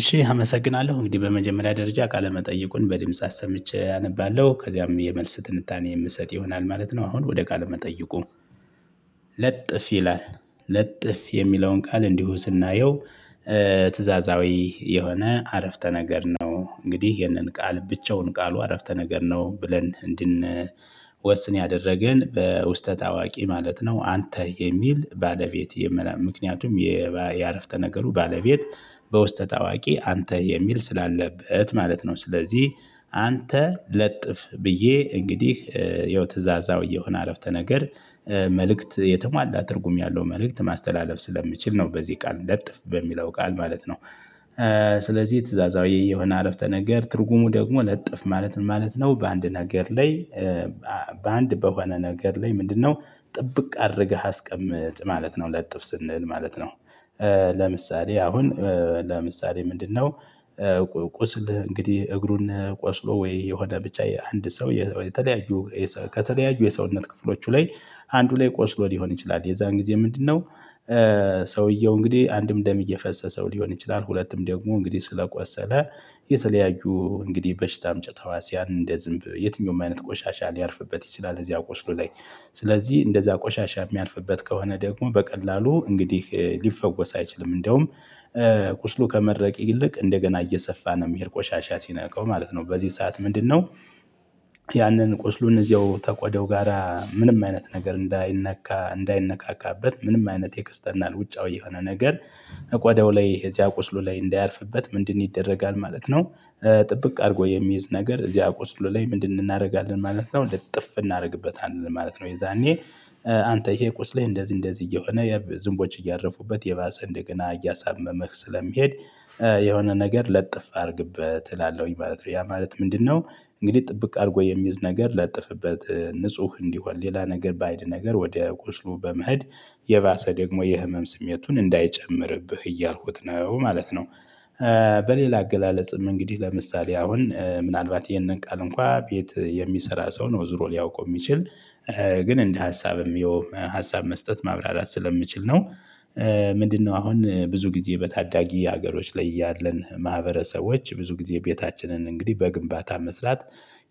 እሺ አመሰግናለሁ እንግዲህ በመጀመሪያ ደረጃ ካለመጠየቁን በድምጽ አሰምቼ አነባለሁ ከዚያም የመልስ ትንታኔ የምሰጥ ይሆናል ማለት ነው። አሁን ወደ ቃል መጠይቁ ለጥፍ ይላል ለጥፍ የሚለውን ቃል እንዲሁ ስናየው ትእዛዛዊ የሆነ አረፍተ ነገር ነው እንግዲህ ይህንን ቃል ብቻውን ቃሉ አረፍተ ነገር ነው። ብለን እንድን ወስን ያደረገን በውስጠ ታዋቂ ማለት ነው። አንተ የሚል ባለቤት ምክንያቱም የአረፍተ ነገሩ ባለቤት በውስጠ ታዋቂ አንተ የሚል ስላለበት ማለት ነው። ስለዚህ አንተ ለጥፍ ብዬ እንግዲህ ይኸው የትዛዛዊ እየሆነ አረፍተ ነገር መልእክት የተሟላ ትርጉም ያለው መልእክት ማስተላለፍ ስለሚችል ነው። በዚህ ቃል ለጥፍ በሚለው ቃል ማለት ነው። ስለዚህ ትእዛዛዊ የሆነ አረፍተ ነገር ትርጉሙ ደግሞ ለጥፍ ማለት ምን ማለት ነው? በአንድ ነገር ላይ በአንድ በሆነ ነገር ላይ ምንድነው ጥብቅ አድርገህ አስቀምጥ ማለት ነው ለጥፍ ስንል ማለት ነው። ለምሳሌ አሁን ለምሳሌ ምንድነው? ቁስል እንግዲህ እግሩን ቆስሎ ወይ የሆነ ብቻ የአንድ ሰው የተለያዩ ከተለያዩ የሰውነት ክፍሎቹ ላይ አንዱ ላይ ቆስሎ ሊሆን ይችላል። የዛን ጊዜ ምንድነው? ሰውየው እንግዲህ አንድም ደም እየፈጸሰው ሊሆን ይችላል ሁለቱም ደግሞ እንግዲህ ስለቆሰለ የተለያዩ እንግዲህ በሽታ አምጭ ተህዋስያን እንደ ዝንብ የትኛውም አይነት ቆሻሻ ሊያርፍበት ይችላል። እዚያ ቆስሎ ላይ ስለዚህ እንደዚያ ቆሻሻ የሚያልፍበት ከሆነ ደግሞ በቀላሉ እንግዲህ ሊፈወስ አይችልም። እንደውም ቁስሉ ከመድረቅ ይልቅ እንደገና እየሰፋ ነው የሚሄድ ቆሻሻ ሲነካው ማለት ነው። በዚህ ሰዓት ምንድነው? ያንን ቁስሉን እዚያው ተቆደው ጋራ ምንም አይነት ነገር እንዳይነካ እንዳይነካካበት ምንም አይነት ኢክስተርናል ውጫዊ የሆነ ነገር። እቆዳው ላይ እዚያ ቁስሉ ላይ እንዳያርፍበት ምንድን ይደረጋል ማለት ነው? ጥብቅ አድርጎ የሚይዝ ነገር እዚያ ቁስሉ ላይ ምንድን እናደርጋለን ማለት ነው። ልጥፍ እናደርግበታለን ማለት ነው። የዛኔ አንተ ይሄ ቁስልህ እንደዚህ እንደዚህ እየሆነ ዝም ቦች እያረፉበት የባሰ እንደገና እያሳመመህ ስለሚሄድ የሆነ ነገር ለጥፍ አድርግበት እላለሁኝ ማለት ነው። ያ ማለት ምንድነው? እንግዲህ ጥብቅ አድርጎ የሚዝ ነገር ለጥፍበት ንጹህ እንዲሆን ሌላ ነገር ባይድ ነገር ወደ ቁስሉ በመሄድ የባሰ ደግሞ የህመም ስሜቱን እንዳይጨምርብህ እያልኩት ነው ማለት ነው። በሌላ አገላለጽም እንግዲህ ለምሳሌ አሁን ምናልባት ይሄንን ቃል እንኳን ቤት የሚሰራ ሰው ነው ዞሮ ሊያውቀው የሚችል ግን እንደ ሀሳብም የውም ሀሳብ መስጠት ማብራራት ስለምችል ነው። ምንድነው? አሁን ብዙ ጊዜ በታዳጊ ሀገሮች ላይ ያለን ማህበረሰቦች ብዙ ጊዜ ቤታችንን እንግዲህ በግንባታ መስራት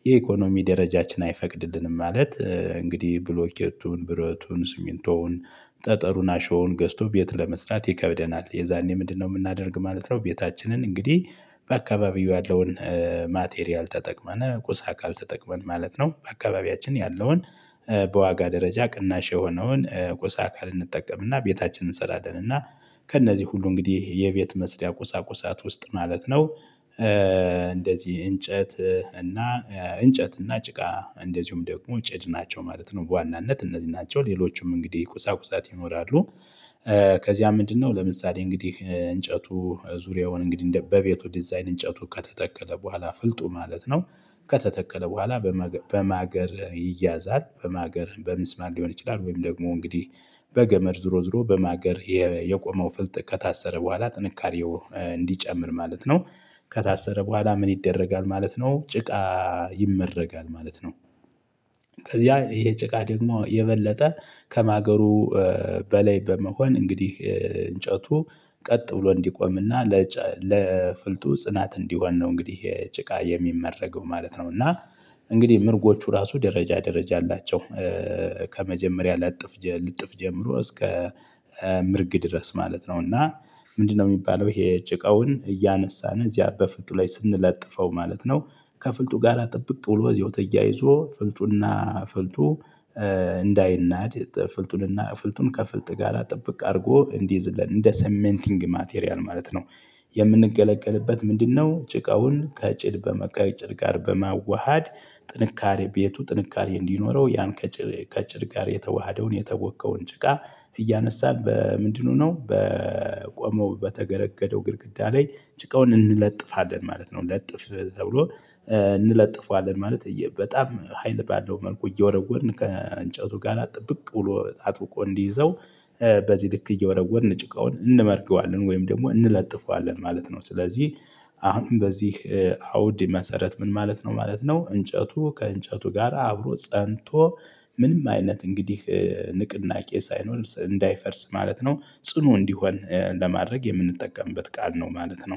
የኢኮኖሚ ደረጃችን አይፈቅድልንም። ማለት እንግዲህ ብሎኬቱን ብረቱን ስሚንቶውን ጠጠሩን አሸዋውን ገዝቶ ቤት ለመስራት ይከብደናል። የዛኔ ምንድነው የምናደርግ ማለት ነው? ቤታችንን እንግዲህ በአካባቢው ያለውን ማቴሪያል ተጠቅመን ቁሳ አካል ተጠቅመን ማለት ነው። በአካባቢያችን ያለውን በዋጋ ደረጃ ቅናሽ የሆነውን ቁስ አካል እንጠቀምና ቤታችንን ሰላደንና ከእነዚህ ሁሉ እንግዲህ የቤት መስሪያ ቁሳ ቁሳት ውስጥ ማለት ነው። እንደዚህ እንጨት እና እንጨት እና ጭቃ እንደዚሁም ደግሞ ጭድ ናቸው ማለት ነው። በዋናነት እነዚህ ናቸው ሌሎችም እንግዲህ ቁሳቁሳት ይኖራሉ። ከዚያ ምንድነው? ለምሳሌ እንግዲህ እንጨቱ ዙሪያውን እንግዲህ በቤቱ ዲዛይን እንጨቱ ከተተከለ በኋላ ፍልጡ ማለት ነው። ከተተከለ በኋላ በማገር ይያዛል በማገር በምስማር ሊሆን ይችላል ወይም ደግሞ እንግዲህ በገመድ ዝሮ ዝሮ በማገር የቆመው ፍልጥ ከታሰረ በኋላ ጥንካሬው እንዲጨምር ማለት ነው። ከታሰረ በኋላ ምን ይደረጋል ማለት ነው? ጭቃ ይመረጋል ማለት ነው። ያ ይሄ ጭቃ ደግሞ የበለጠ ከማገሩ በላይ በመሆን እንግዲህ እንጨቱ ቀጥ ብሎ እንዲቆምና ለፍልጡ ጽናት እንዲሆን ነው። እንግዲህ ይሄ ጭቃ የሚመረገው ማለት ነው። እና እንግዲህ ምርጎቹ ራሱ ደረጃ ደረጃ አላቸው። ከመጀመሪያ ልጥፍ ጀምሮ እስከ ምርግ ድረስ ማለት ነው። እና ምንድነው? የሚባለው ይሄ ጭቃውን እያነሳን እዚያ በፍልጡ ላይ ስንለጥፈው ማለት ነው። ከፍልጡ ጋር ጥብቅ ብሎ እዚያው ተያይዞ ፍልጡና ፍልጡ እንዳይናድ ፍልጡን እና ፍልጡን ከፍልጥ ጋር ጠብቅ አድርጎ እንዲይዝልን እንደ ሰሜንቲንግ ማቴሪያል ማለት ነው። የምንገለገልበት ምንድነው? ጭቃውን ከጭድ ከጭድ ጋር በማዋሃድ ጥንካሬ ቤቱ ጥንካሬ እንዲኖረው ያን ከጭር ከጭድ ጋር የተዋሃደውን የተቦከውን ጭቃ እያነሳን በምንድነው ነው በቆመው በተገረገደው ግድግዳ ላይ ጭቃውን እንለጥፋለን ማለት ነው። ለጥፍ ተብሎ እንለጥፈዋለን ማለት በጣም ሀይል ባለው መልኩ እየወረወርን ከእንጨቱ ጋር ጥብቅ ብሎ አጥብቆ እንዲይዘው በዚህ ልክ እየወረወርን ጭቃውን እንመርገዋለን ወይም ደግሞ እንለጥፈዋለን ማለት ነው። ስለዚህ አሁን በዚህ አውድ መሰረት ምን ማለት ነው ማለት ነው? እንጨቱ ከእንጨቱ ጋር አብሮ ፀንቶ ምንም አይነት እንግዲህ ንቅናቄ ሳይኖር እንዳይፈርስ ማለት ነው። ጽኑ እንዲሆን ለማድረግ የምንጠቀምበት ቃል ነው ማለት ነው